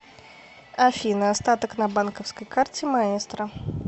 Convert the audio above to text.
афина остаток на банковской карте маэстро